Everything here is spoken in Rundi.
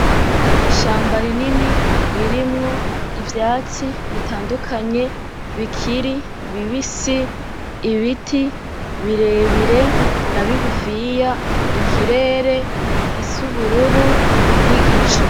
Ishamba rinini ririmwo ivyatsi bitandukanye; bikiri bibisi, Ibiti birebire na bigufi, ikirere gisa n’ubururo, n’igicu.